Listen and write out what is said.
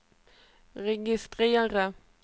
registrera